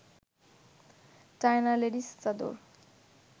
China ladies চাদর